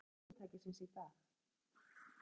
Jóhann, hver er staða fyrirtækisins í dag?